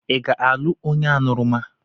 Ị ga-alụ onye aṅụrụma?